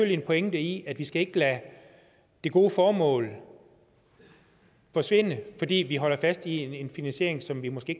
en pointe i at vi ikke skal lade det gode formål forsvinde fordi vi holder fast i en finansiering som vi måske